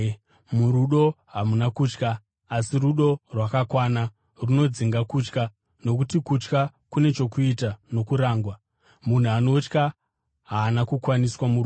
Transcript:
Murudo hamuna kutya. Asi rudo rwakakwana runodzinga kutya, nokuti kutya kune chokuita nokurangwa. Munhu anotya haana kukwaniswa murudo.